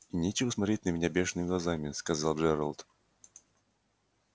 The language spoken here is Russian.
и нечего смотреть на меня бешеными глазами сказал джералд